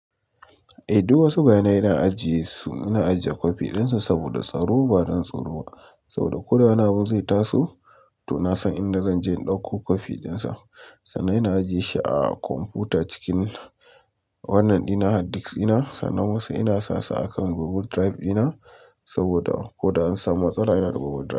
Eh duk wasu bayanai ina ajiye su, ina ajiye copy ɗin su saboda tsaro, ba don tsoro ba. Saboda koda wani abu zai taso to na san inda zan je in ɗauko copy ɗin sa. Sannan ina ajiye shi a kwamfuta cikin wannan ina hard disk ina. Sannan wasu ina sasu akan Google Drive ina saboda ko da an samu matsala yana Google Drive.